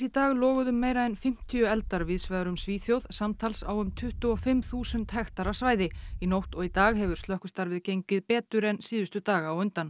dag loguðu meira en fimmtíu eldar víðsvegar um Svíþjóð samtals á um tuttugu og fimm þúsund hektara svæði í nótt og í dag hefur slökkvistarfið gengið betur en síðustu daga á undan